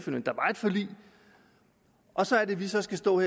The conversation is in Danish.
forlig og så er det vi så skal stå og